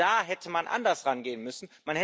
Genau da hätte man anders herangehen müssen.